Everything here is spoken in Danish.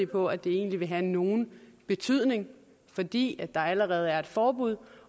på at det egentlig vil have nogen betydning fordi der allerede er et forbud